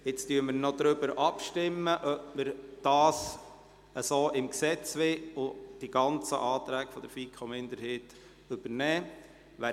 Wir stimmen noch darüber ab, ob Sie die gesamten Anträge der FiKo-Minderheit so ins Gesetz übernehmen wollen.